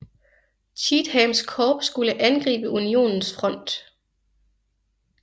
Cheathams korps skulle angribe Unionens front